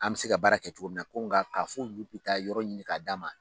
An bɛ se ka baara kɛ cogo min na ko nka ka fɔ olu bɛ taa yɔrɔ ɲini k'a d d'an ma